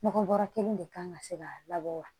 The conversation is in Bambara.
Nɔgɔ bɔrɔ kelen de kan ka se ka labɔ wa